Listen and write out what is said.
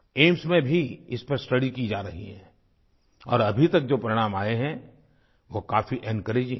AIIMS में भी इस पर स्टडी की जा रही है और अभी तक जो परिणाम आए हैं वो काफी एन्कोरेजिंग हैं